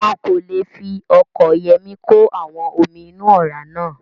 Wọn kò le fi ọkọ̀ Yọ̀mí kò àwọn omi inú ọ̀rá náà